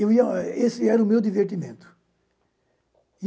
Eu e o, esse era o meu divertimento.